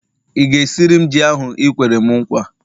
ị ga-esiri m ji ahu i kwere'm nkwa?